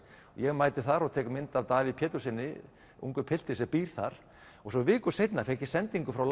ég mæti þar og tek mynd af Davíð Péturssyni ungum pilti sem býr þar og svo viku seinna fékk ég sendingu frá